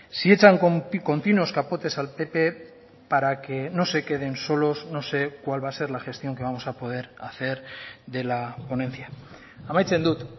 si echan continuos capotes al pp para que no se queden solos no sé cuál va a ser la gestión que vamos a poder hacer de la ponencia amaitzen dut